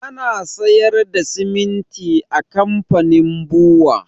Ana sayar da siminti a kamfanin bua